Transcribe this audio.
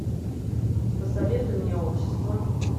посоветуй мне общество